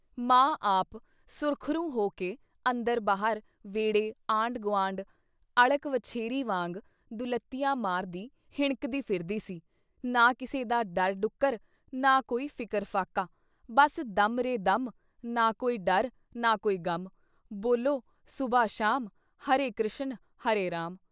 ਮਾਂ ਆਪ ਸੁਰਖ਼ਰੂ ਹੋ ਕੇ ਅੰਦਰ ਬਾਹਰ, ਵੇਹੜੇ, ਆਂਢ-ਗੂਆਂਢ ਅਲ਼ਕ ਵਛੇਰੀ ਵਾਂਗ ਦੁਲੱਤੀਆਂ ਮਾਰਦੀਆਂ ਹਿਣਕਦੀਆਂ ਫਿਰਦੀ ਸੀ, ਨਾ ਕਿਸੇ ਦਾ ਡਰ-ਡੁੱਕਰ ਨਾ ਕੋਈ ਫ਼ਿਕਰ-ਫ਼ਾਕਾ, ਬਸ ਦਮ ਰੇ ਦਮ, ਨਾ ਕੋਈ ਡਰ ਨਾ ਕੋਈ ਗ਼ਮ, ਬੋਲੋ ਸੂਬ੍ਹਾ ਸ਼ਾਮ, ਹਰੇ ਕਰਿਸ਼ਨ ਹਰੇ ਰਾਮ।”